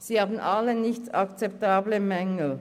Sie haben alle nicht akzeptable Mängel.